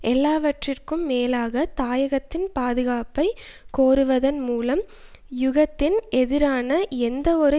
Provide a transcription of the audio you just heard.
எல்லாவற்றுக்கும் மேலாக தாயகத்தின் பாதுகாப்பைக் கோருவதன் மூலம் யுகத்தின் எதிரான எந்தவொரு